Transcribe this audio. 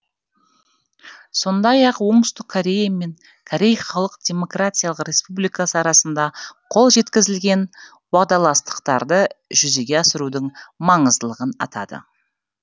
сондай ақ оңтүстік корея мен корей халық демократиялық республикасы арасында қол жеткізілген уағдаластықтарды жүзеге асырудың маңыздылығын атады